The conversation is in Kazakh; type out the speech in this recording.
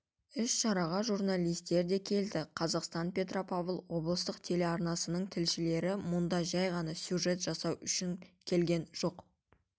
іс-шараға журналистер де келді қазақстан-петропавл облыстық телеарнасының тілшілері мұнда жай ғана сюжет жасау үшін келген жоқ